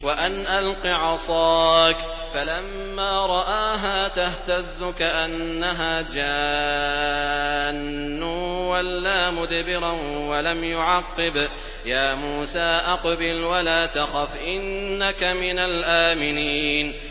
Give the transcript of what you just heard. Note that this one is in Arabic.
وَأَنْ أَلْقِ عَصَاكَ ۖ فَلَمَّا رَآهَا تَهْتَزُّ كَأَنَّهَا جَانٌّ وَلَّىٰ مُدْبِرًا وَلَمْ يُعَقِّبْ ۚ يَا مُوسَىٰ أَقْبِلْ وَلَا تَخَفْ ۖ إِنَّكَ مِنَ الْآمِنِينَ